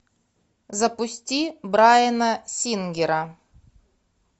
запусти брайана сингера